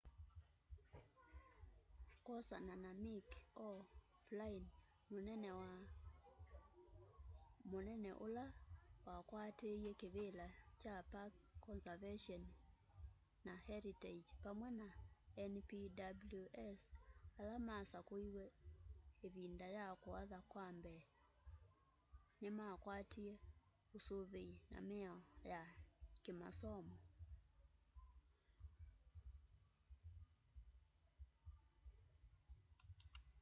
kwosana na mick o'flynn munene ula wakwatiie kivila cha park conservation and heritage pamwe na npws ala masakuiwe ivinda ya kuatha kwa mbee ni makwatie usuvii na miao ya kiimasomo